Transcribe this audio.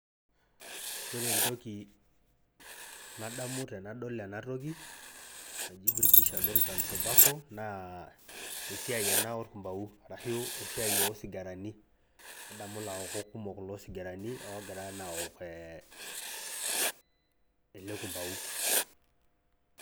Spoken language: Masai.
Ore entoki nadamu tenadol ena toki naji British American tobacco naa esiai ena orkumbau orashu esiai oosigarani nadamu laokok kumok loo sigarani oogira naa aok ele kumbau .